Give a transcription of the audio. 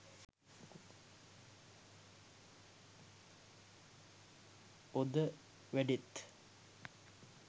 ඔද වැඩෙත්.